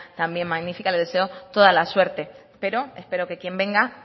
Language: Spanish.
también magnífica le deseo toda la suerte pero espero que quien venga